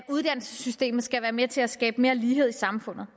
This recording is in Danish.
at uddannelsessystemet skal være med til at skabe mere lighed i samfundet